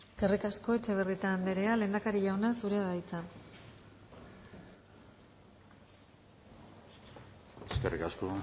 eskerrik asko etxebarrieta andrea lehendakari jauna zurea da hitza eskerrik asko